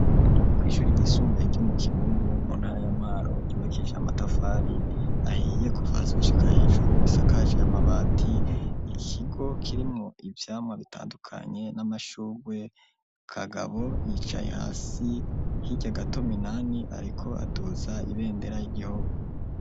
Kw`ishuri ryisumbuye ryo mu Kibumbu mu ntara ya Mwaro ryubakishije amatafari ahiye kuva hasi gushika hejuru risakaje amabati, Ikigo kirimwo ivyamwa bitandukanye n'amashugwe, Kagabo yicaye hasi hirya gato Minani ariko aduza ibendera ry'igihugu.